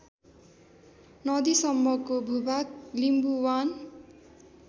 नदीसम्मको भूभाग लिम्बुवान